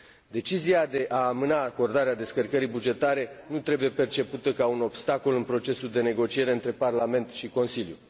Decizia de a amâna acordarea descărcării bugetare nu trebuie percepută ca un obstacol în procesul de negociere dintre Parlament și Consiliu.